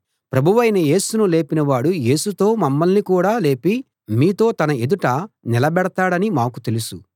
ప్రభువైన యేసును లేపినవాడు యేసుతో మమ్మల్ని కూడా లేపి మీతో తన ఎదుట నిలబెడతాడని మాకు తెలుసు